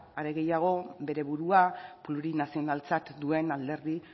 ezta are gehiago bere burua plurinazionaltzat duen alderdi